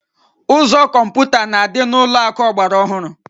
Ụzọ kọmputa na-adị n'ụlọakụ ọgbara ọhụrụ